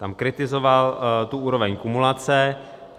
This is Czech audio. Tam kritizoval tu úroveň kumulace.